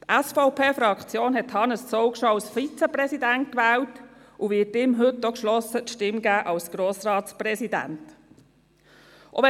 Die SVP-Fraktion wählte Hannes Zaugg schon zum Vizepräsidenten und wird ihm heute denn auch geschlossen die Stimme für die Wahl zum Grossratspräsidenten geben.